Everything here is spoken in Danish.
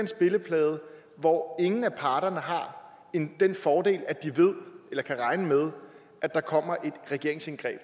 spilleplade hvor ingen af parterne har den fordel at de ved eller kan regne med at der kommer et regeringsindgreb